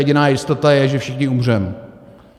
Jediná jistota je, že všichni umřeme.